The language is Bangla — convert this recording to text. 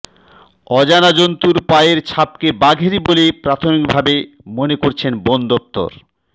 অজানা জন্তুর পায়ের ছাপকে বাঘেরই বলে প্রাথমিক ভাবে মনে করছে বন দফতর